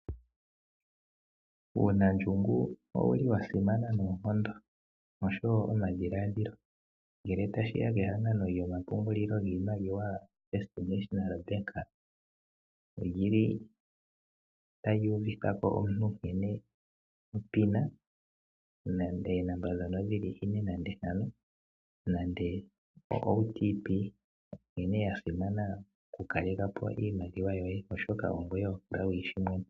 Uunandjungu owu li wa simana noonkondo osho wo omadhiladhilo. Ngele tashiya kehangano lyomapungulilo giimaliwa FNB oli li ta li uvithako omuntu nkene onomola ye yomeholamo nkene ya simana okukaleka po iimaliwa yoye oshoka ongoye ho kala wu yi shi mwene.